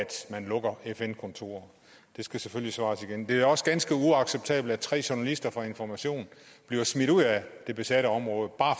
man lukker fn kontorer der skal selvfølgelig svares igen det er også ganske uacceptabelt at tre journalister fra information bliver smidt ud af det besatte område bare